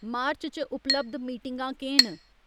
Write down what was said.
मार्च च उपलब्ध मीटिंगां केह् न